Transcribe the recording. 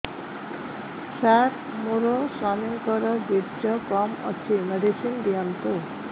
ସାର ମୋର ସ୍ୱାମୀଙ୍କର ବୀର୍ଯ୍ୟ କମ ଅଛି ମେଡିସିନ ଦିଅନ୍ତୁ